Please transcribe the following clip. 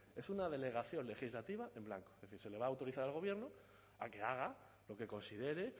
es una delegación legislativa en blanco que se le va a autorizar al gobierno a que haga lo que considere